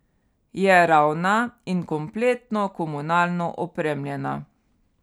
Je ravna in kompletno komunalno opremljena.